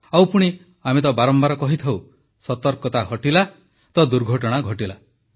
ଆଉ ପୁଣି ଆମେ ତ ବାରମ୍ବାର କହିଥାଉ ସତର୍କତା ହଟିଲା ତ ଦୁର୍ଘଟଣା ଘଟିଲା